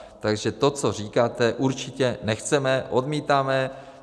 Takže to, co říkáte, určitě nechceme, odmítáme!